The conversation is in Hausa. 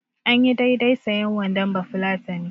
Anyi daidai sayen wandon bafulatani.